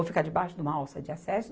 Ou ficar debaixo de uma alça de acesso?